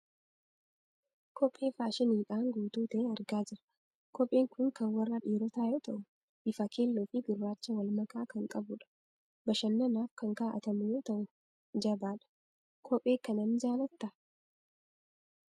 Kophee faashiniidhaan guutuu ta'e argaa jirra. Kopheen kun kan warra dhiirotaa yoo ta'u, bifa keelloo fi gurraacha wal makaa kan qabudha. Bashannanaaf kan kaa'atamu yoo ta'u, jabadha. Kophee kana ni jaallattaa?